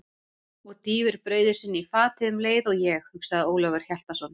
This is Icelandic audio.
Og dýfir brauði sínu í fatið um leið og ég, hugsaði Ólafur Hjaltason.